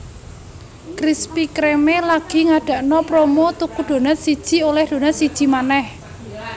Krispy Kreme lagi ngadakno promo tuku donat siji oleh donat siji meneh